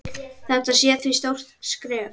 Þetta sé því stórt skref.